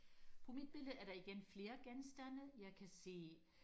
på mit billede er der igen flere genstande jeg kan se